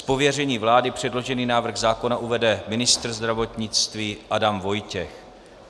Z pověření vlády předložený návrh zákona uvede ministr zdravotnictví Adam Vojtěch.